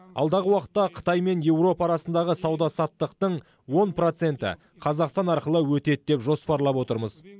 алдағы уақытта қытай мен еуропа арасындағы сауда саттықтың он проценті қазақстан арқылы өтеді деп жоспарлап отырмыз